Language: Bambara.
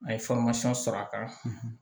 A' ye sɔrɔ a kan